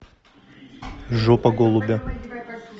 жопа голубя